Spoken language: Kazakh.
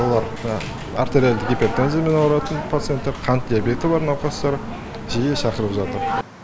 олар артериалды гипертензиямен ауыратын пациенттер қант диабеті бар науқастар жиі шақырып жатыр